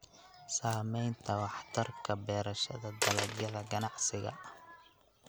Saamaynta waxtarka beerashada dalagyada ganacsiga.